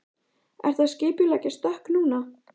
Ertu að skipuleggja stökk núna?